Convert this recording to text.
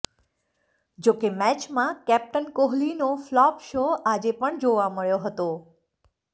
જોકે મેચમાં કેપ્ટન કોહલીનો ફ્લોપ શો આજે પણ જોવા મળ્યો હતો